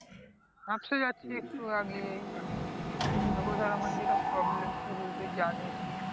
হাঁপসে যাচ্ছি একটু এগিয়েই তারপরে ধর আমার যেটা problem সেগুলো তুই জানিসই।